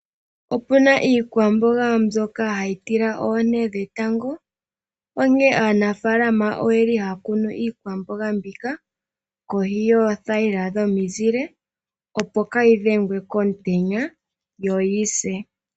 Opuna iikwamboga mbyoka hayi tila oonte dhetango onkene aanafaalama oyeli haya kunu iikwamboga mbika kohi yoothayila dhomizile opo kayi dhengwe komutenya yo yise.